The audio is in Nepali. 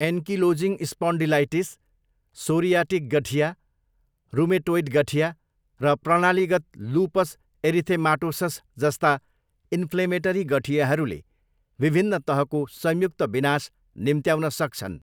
एन्किलोजिङ स्पन्डिलाइटिस, सोरियाटिक गठिया, रुमेटोइड गठिया, र प्रणालीगत लुपस एरिथेमाटोस सजस्ता इन्फ्लेमेटरी गठियाहरूले विभिन्न तहको संयुक्त विनाश निम्त्याउन सक्छन्।